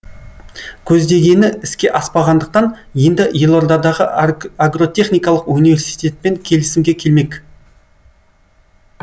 көздегені іске аспағандықтан енді елордадағы агротехникалық университетпен келісімге келмек